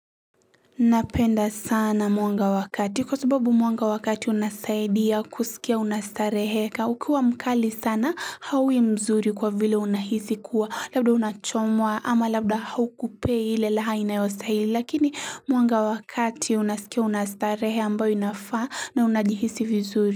Napenda sana mwanga wa kati kwa sababu mwanga wa kati unasaidia kusikia unastarehe Ukiwa mkali sana hawi mzuri kwa vile unahisi kuwa labda unachomwa ama labda haukupei ile raha inayostahili lakini mwanga wakati unasikia unastarehe ambayo inafaa na unajihisi vizuri.